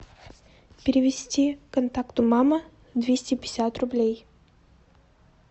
перевести контакту мама двести пятьдесят рублей